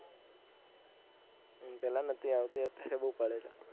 હમ પેહલા નથી આવતી અત્યારે બૌ પડે છે